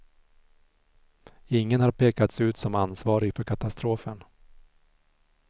Ingen har pekats ut som ansvarig för katastrofen.